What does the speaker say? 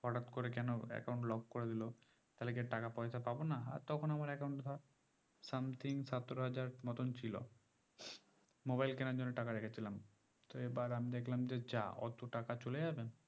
হটাৎ করে কেন account locked করে দিলো তাহলে কি আর টাকা পয়সা পাবো না তখন আমার account এ ধর something সতেরো হাজার মতন ছিল mobile কিনার জন্য টাকা রেখেছিলামতো এবার আমি দেখলাম যে যা অত টাকা চলে যাবে